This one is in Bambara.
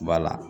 Bala